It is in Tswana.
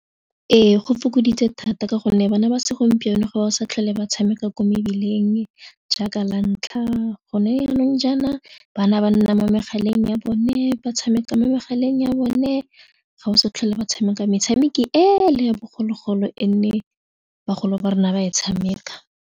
Ee, go fokoditse thata ka gonne bana ba segompieno go ba sa tlhole ba tshameka kwa mebileng jaaka la ntlha gone yanong jaana bana ba nna mo megaleng ya bone, ba tshameka mo megaleng ya bone ga o sa tlhole ba tshameka metshameko ele ya bogologolo e nne bagolo ba rona ba e tshameka.